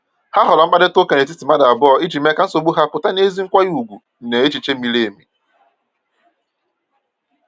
Ha họọrọ mkparịta ụka n’etiti mmadụ abụọ iji mee ka nsogbu ha pụta n’ezi nkwanye ùgwù na n’echiche miri emi.